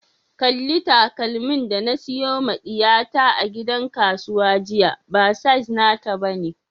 Kalli takalmin da na siyo ma diyata a gidan kasuwa jiya, ba size nata ba ne.